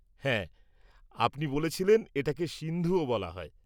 হ্যাঁ, আপনি বলেছিলেন এটাকে সিন্ধুও বলা হয়।